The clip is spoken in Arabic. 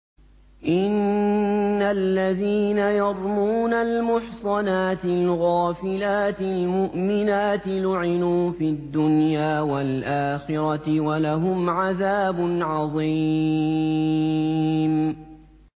إِنَّ الَّذِينَ يَرْمُونَ الْمُحْصَنَاتِ الْغَافِلَاتِ الْمُؤْمِنَاتِ لُعِنُوا فِي الدُّنْيَا وَالْآخِرَةِ وَلَهُمْ عَذَابٌ عَظِيمٌ